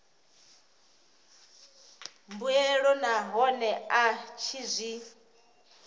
mbuelo nahone a tshi zwi